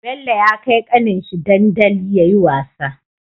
Bello ya kai kanin shi dandaliyayi wasa